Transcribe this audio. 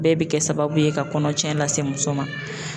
Bɛɛ be kɛ sababu ye ka kɔnɔ tiɲɛ lase muso ma.